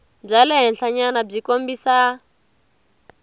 bya le henhlanyana byi kombisa